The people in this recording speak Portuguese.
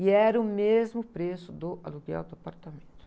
E era o mesmo preço do aluguel do apartamento.